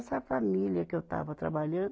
Essa família que eu estava trabalhando,